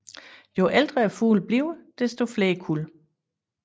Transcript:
Jo ældre fuglene bliver desto flere kuld